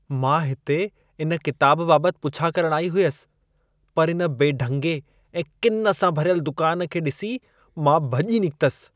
मां हिते इन किताबु बाबति पुछा करणु आई हुयसि, पर इन बेढंगे ऐं किन सां भरियल दुकान खे ॾिसी मां भॼी निकितसि।